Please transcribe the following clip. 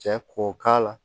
Cɛ ko k'a la